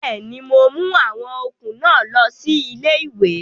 Bẹ́ẹ̀ni, mo mú àwọn okùn náà lọ sí ilé-ìwé